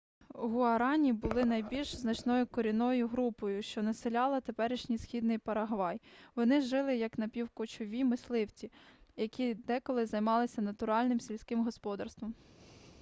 гуарані були найбільш значною корінною групою що населяла теперішній східний парагвай вони жили як напівкочові мисливці які деколи займалися натуральним сільським господарством